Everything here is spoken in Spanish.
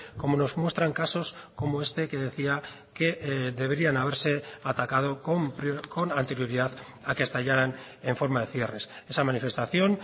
como nos muestran casos como este que decía que deberían haberse atacado con anterioridad a que estallaran en forma de cierres esa manifestación